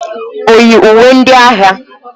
O yi uwe ndị agha?